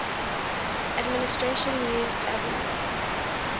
administration used abu